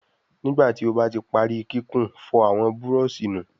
Nígbàtí o bá tí parí kíkún, fòr àwọn Búrọ̀ọ̀ṣì nù!